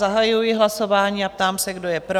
Zahajuji hlasování a ptám se, kdo je pro?